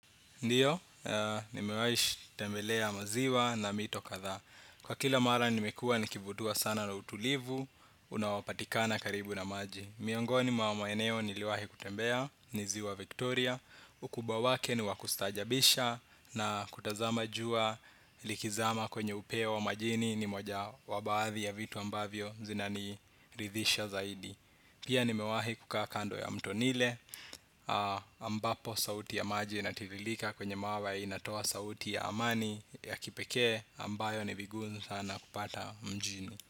Ndiyo, nimewai shi tembelea maziwa na mito kadhaa. Kwa kila mara nimekua nikivutua sana na utulivu, unaopatikana karibu na maji. Miongoni mwa maeneo niliwahi kutembea ni ziwa Viktoria. Ukubawa wake ni wa kustaajabisha na kutazama jua likizama kwenye upeo wa majini ni moja wa baadhi ya vitu ambavyo zinani ridhisha zaidi. Pia nimewahi kukaa kando ya mto ni ile ambapo sauti ya maji inatiririka kwenye mawa inatoa sauti ya amani ya kipekee ambayo ni vigumu sana kupata mjini.